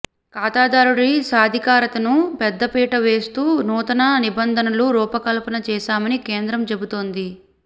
ఖాతాదారుడి సాధికారతకు పెద్దపీట వేస్తూ నూతన నిబంధనలు రూపకల్పన చేశామని కేంద్రం చెబుతోంది